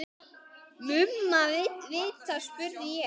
Mumma vita, spurði ég.